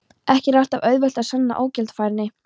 Ekki er alltaf auðvelt að sanna ógjaldfærni.